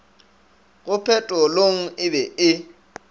go petrolong e be e